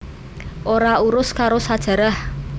Ora urus karo sajarah